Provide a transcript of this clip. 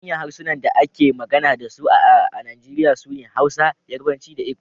Manyan harsunan da ake magana da su a Najeriya sune Hausa, Yarbanci da Igbo